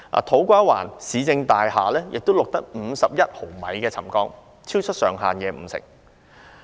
土瓜灣市政大廈亦錄得51毫米的沉降，超出上限五成。